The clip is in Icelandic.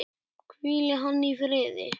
Hvíli hann í friði.